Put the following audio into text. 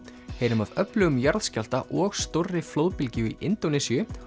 heyrum af öflugum jarðskjálfta og stórri flóðbylgju í Indónesíu